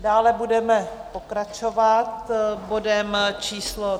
Dále budeme pokračovat bodem číslo